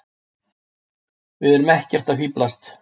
Við erum ekkert að fíflast.